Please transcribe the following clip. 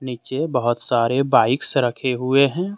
नीचे बहोत सारे बाइक्स रखे हुए हैं।